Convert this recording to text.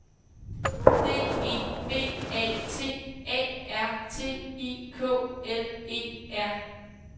D E B A T A R T I K L E R